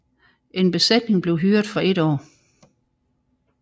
En besætning blev hyret for et år